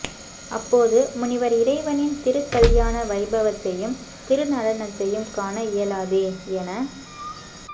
அப்போது முனிவர் இறைவனின் திருக்கல்யாண வைபவத்தயும் திருநடனத்தையும் காண இயலாதே என